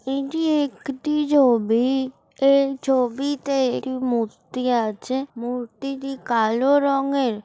এটি একটি ছবি এই ছবিতে একটি মুর্তি আছে মূর্তিটি কালো রঙের ।